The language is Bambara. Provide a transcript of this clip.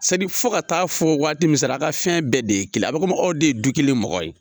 Sadi fo ka taa fɔ waati min sera a ka fɛn bɛɛ de ye kelen a bɛ komi aw de ye du kelen mɔgɔ ye.